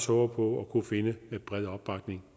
håber at kunne finde bred opbakning